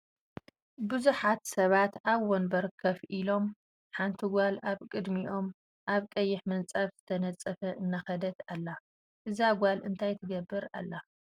ብዙሓት ሰባት ኣብ ወንበር ኮፍ ኢሊም ሓንቲ ጋል ኣብ ቅድሚኦም ኣብ ቀይሕ ምንፃፍ ዝተነፀፈ እናከደት ኣላ ። እዛ ጋል እንታይ ትገብር ኣላ?